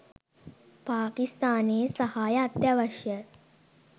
පාකිස්තානයේ සහාය අත්‍යවශ්‍යය